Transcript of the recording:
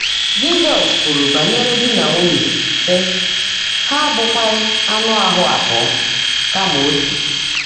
Jị́zọ́s kwùrú bányèré dí nà nwúnyé, sị́: “Há ábụ́kwághị́ áńụ́ áhú́ abụọ́, kàmà ótú.”